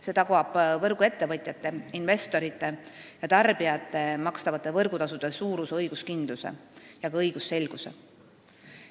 See tagab võrguettevõtjate, investorite ja tarbijate makstavate võrgutasude suuruse õiguskindluse ja ka õigusselguse.